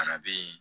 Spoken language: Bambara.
Fana bɛ yen